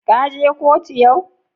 Ka je kotu yau?